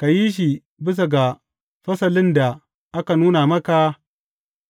Ka yi shi bisa ga fasalin da aka nuna maka